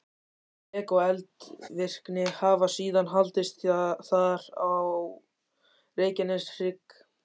Rek og eldvirkni hafa síðan haldist þar og á Reykjaneshrygg.